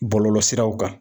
Bɔlɔlɔsiraw kan